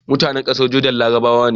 MutAnan ƙasar Jordan larabawa ne